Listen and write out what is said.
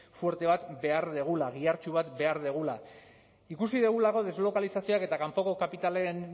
fuerte bat behar dugula gihartsu bat behar dugula ikusi dugulako deslokalizazioak eta kanpoko kapitalen